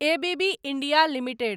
ABB India limited